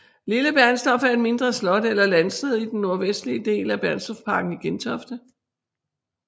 Lille Bernstorff er et mindre slot eller landsted i den nordvestlige del af Bernstorffsparken i Gentofte